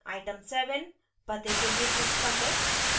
item 7 पते के लिए पूछता है